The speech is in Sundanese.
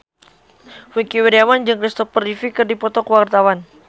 Wingky Wiryawan jeung Christopher Reeve keur dipoto ku wartawan